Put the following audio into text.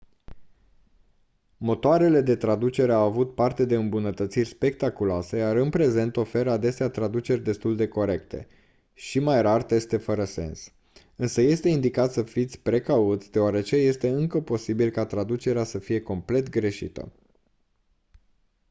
motoarele de traducere au avut parte de îmbunătățiri spectaculoase iar în prezent oferă adesea traduceri destul de corecte și mai rar teste fără sens însă este indicat să fiți precauți deoarece este încă posibil ca traducerea să fie complet greșită